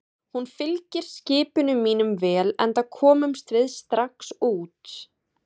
Hún fylgir skipunum mínum vel, enda komumst við strax út.